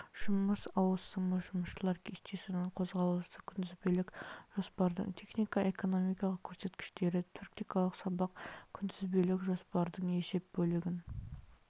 жұмыс ауысымы жұмысшылар кестесінің қозғалысы күнтізбелік жоспардың технико экономикалық көрсеткіштері практикалық сабақ күнтізбелік жоспардың есеп бөлігін